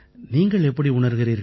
நீங்கள் எப்படி உணர்கிறீர்கள்